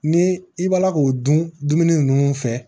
Ni i bɔla k'o dun dumuni ninnu fɛ